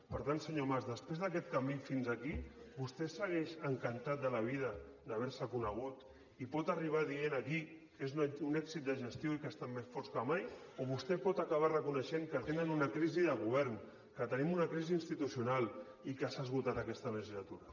per tant senyor mas després d’aquest camí fins aquí vostè segueix encantat de la vida d’haver se conegut i pot arribar dient aquí que és un èxit de gestió i que estan més forts que mai o vostè pot acabar reconeixent que tenen una crisi de govern que tenim una crisi institucional i que s’ha esgotat aquesta legislatura